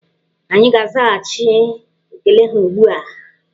Anyị ga-azaghachị ekele ha ugbu a.